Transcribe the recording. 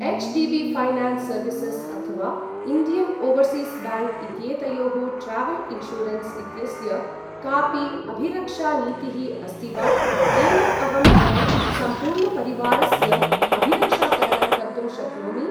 HDB. Finance services अथवा Indian Overseas Bank इत्येतयोः travel insurance इत्यस्य कापि अभिरक्षानीतिः अस्ति वा, येन अहं मम सम्पूर्णपरिवारस्य अभिरक्षाकरणं कर्तुं शक्नोमि?